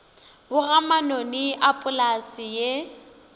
boga manoni a polase ye